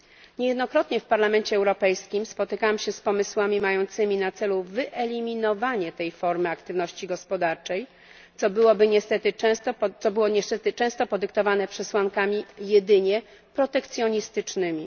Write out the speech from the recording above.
Niejednokrotnie w Parlamencie Europejskim spotykałam się z pomysłami mającymi na celu wyeliminowanie tej formy aktywności gospodarczej, co było niestety często podyktowane przesłankami jedynie protekcjonistycznymi.